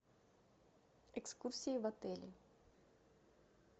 экскурсии в отеле